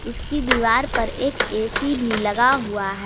इसकी दीवार पर एक ए_सी भी लगा हुआ है।